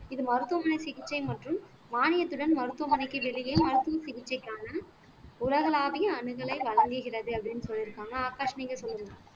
இது மருத்துவமனை சிகிச்சை மற்றும் மானியத்துடன் மருத்துவமனைக்கு வெளியே மருத்துவ சிகிச்சைக்கான உலகளாவிய அணுகலை வழங்குகிறது அப்படின்னு சொல்லியிருக்காங்க ஆகாஷ் நீங்க சொல்லுங்க